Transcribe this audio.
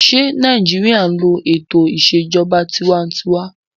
Ṣé Nàìjíríyà n lo ètò ìṣèjọba tinwatinwa?